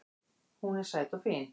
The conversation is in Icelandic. Hún er sæt og fín